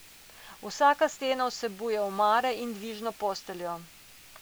Vsaka stena vsebuje omare in dvižno posteljo.